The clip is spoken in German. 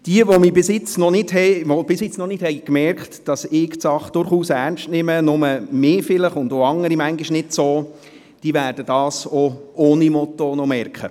Jene, die bisher noch nicht gemerkt haben, dass ich die Sache durchaus ernst nehme, aber nur mich und manchmal vielleicht auch andere nicht ganz – sie werden dies auch ohne ein Motto noch merken.